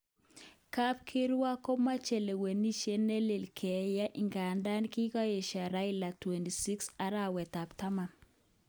Kapkirwok komoche lewenishe nelel keyai ingandan kikoyeasho Raila 26 arawet ab taman